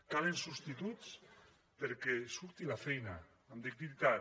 calen substituts perquè surti la feina amb dignitat